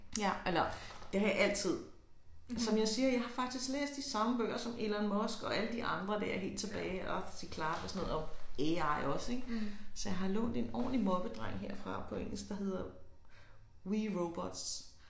Ja eller det har jeg altid som jeg siger jeg har faktisk læst de samme bøger som Elon Musik og alle de de andre der helt tilbage Arthur C Clark og sådan noget og AI også ik så jeg har lånt en ordentlig moppedreng herfra på engelsk der hedder we robots